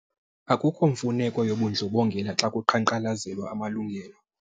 Akukho mfuneko yobundlobongela xa kuqhankqalazelwa amalungelo.